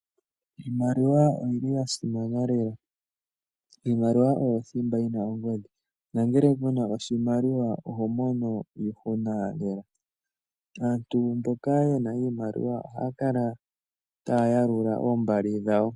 Iimaliwa oyili yasimana lela. Iimaliwa oyo thimba yina ongodhi. Nangele kuna iimaliwa oto mono iihuna lela. Aantu mboka yena iimaliwa ohaya kala taya yalula oombali dhawo.